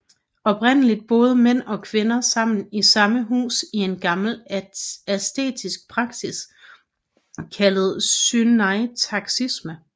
Oprindeligt boede mænd og kvinder sammen i samme hus i en gammel asketisk praksis kaldet syneisaktisme